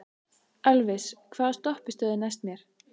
Elvis, hvaða stoppistöð er næst mér?